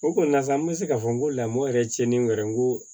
O kɔni na sa n bɛ se k'a fɔ n ko lamɔ yɛrɛ tiɲɛ ni n yɛrɛ ko